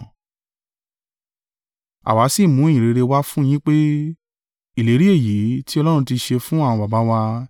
“Àwa sì mú ìyìnrere wá fún yín pé, ìlérí èyí tí Ọlọ́run ti ṣe fún àwọn baba wa,